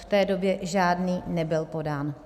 V té době žádný nebyl podán.